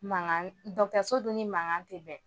Mankan dun ni mankan ti bɛn